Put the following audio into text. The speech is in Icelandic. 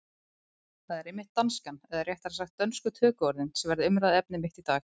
Það er einmitt danskan, eða réttara sagt dönsku tökuorðin, sem verður umræðuefni mitt í dag.